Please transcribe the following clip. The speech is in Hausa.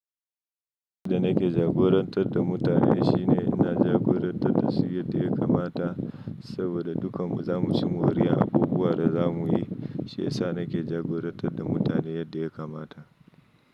Yadda na ke jagorantar da mutane shine ina jagorantar dasu yadda yakamata saboda duka mu za mu ci moriyar abubuwan da za mu yi. Sha yasa nake jagorantar da mutane yadda ya kamata.